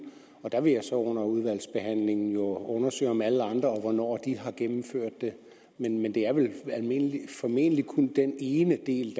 der vil jeg så under udvalgsbehandlingen undersøge om alle andre og hvornår men det er vel formentlig kun den ene del